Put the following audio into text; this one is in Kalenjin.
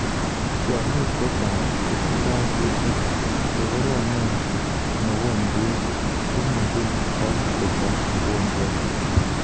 Tyang'ik chechang kotindoi kutik chegoromet mugojwet chemuji kwai kotai mugojwet.